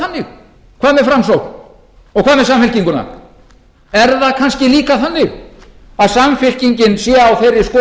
þannig hvað með framsókn og hvað með samfylkinguna er það kannski líka þannig að samfylkingin sé á þeirri skoðun